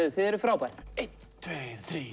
þið eruð frábær einn tveir þrír